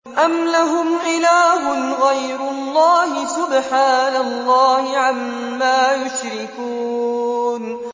أَمْ لَهُمْ إِلَٰهٌ غَيْرُ اللَّهِ ۚ سُبْحَانَ اللَّهِ عَمَّا يُشْرِكُونَ